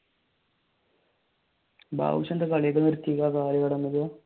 ബാദുഷാന്റെ കളി ഒക്കെ നിർത്തിയല്ലോ